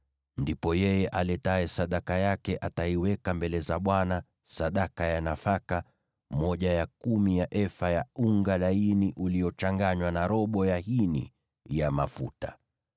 ndipo yeye aletaye sadaka yake ataiweka mbele za Bwana sadaka ya nafaka, sehemu ya kumi ya efa ya unga laini uliochanganywa na robo ya hini ya mafuta.